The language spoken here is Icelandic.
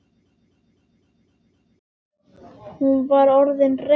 Nú var hann orðinn reiður.